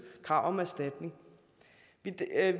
krav om erstatning vi er